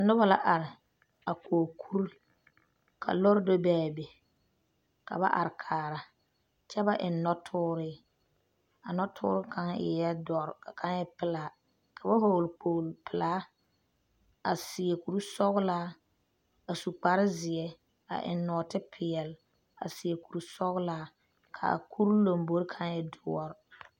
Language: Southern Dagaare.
Noba la are a kɔɔ kuri, ka lɔre do be a be, ka ba are kaara kyɛ ba eŋe noɔtɔre, a noɔtɔre kaŋa eɛ doɔre ka kaŋa e pelaa, ka ba vɔgeli kpolo. pɛlaa a seɛ kur sɔglaa a su kpare zeɛ a eŋe nɔɔte pɛɛle a seɛ kuri sɔglaa ka a kuri lambori kaŋa e doɔre.